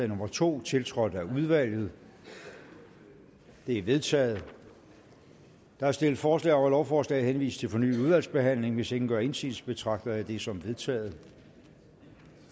nummer to tiltrådt af udvalget det er vedtaget der er stillet forslag om at lovforslaget henvises til fornyet udvalgsbehandling hvis ingen gør indsigelse betragter jeg det som vedtaget